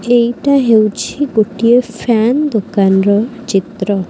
ଏଇଟା ହେଉଛି ଗୋଟିଏ ଫ୍ୟାନ ଦୋକାନର ଚିତ୍ର।